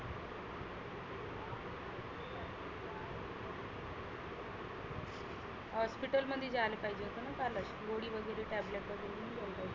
hospital मध्ये जायला आहीजे होतं ना कालच. गोळी वगैरे tablet वगैरे घेऊन घ्यायला पाहीजे.